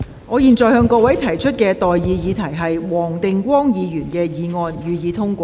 我現在向各位提出的待議議題是：黃定光議員動議的議案，予以通過。